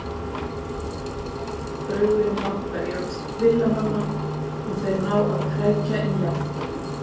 Falldraugurinn bankar í öxl Villa-manna og þeir ná að krækja í jafntefli.